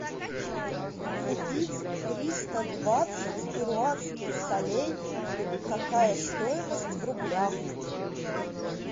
купить триста двадцать перуанских солей какая стоимость в рублях